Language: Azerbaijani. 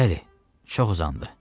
Bəli, çox uzandı.